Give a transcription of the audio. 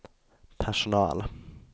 personal